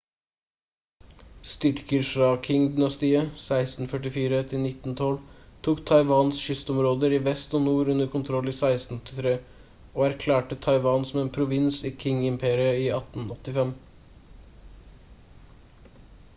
styrker fra qing-dynastiet 1644-1912 tok taiwans kystområder i vest og nord under kontroll i 1683 og erklærte taiwan som en provins i qing-imperiet i 1885